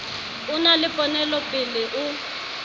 o na le ponelopele o